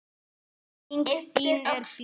Minning þín er björt.